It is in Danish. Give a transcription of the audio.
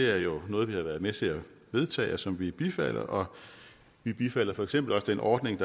er jo noget vi har været med til at vedtage og som vi bifalder vi bifalder for eksempel også den ordning